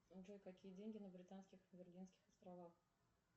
джой какие деньги на британских и виргинских островах